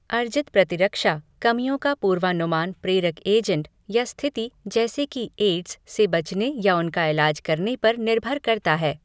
अर्जित प्रतिरक्षा, कमियों का पूर्वानुमान प्रेरक एजेंट या स्थिति जैसे कि एड्स से बचने या उनका इलाज करने पर निर्भर करता है।